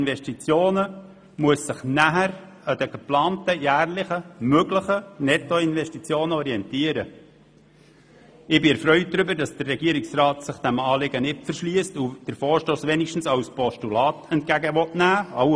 Ich bin darüber erfreut, dass der Regierungsrat sich diesem Anliegen nicht verschliesst und den Vorstoss wenigstens als Postulat entgegennehmen will.